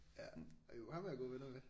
Ja jo ham er jeg gode venner med